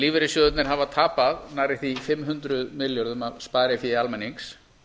lífeyrissjóðirnir hafa tapað nærri því fimm hundruð milljörðum af sparifé almennings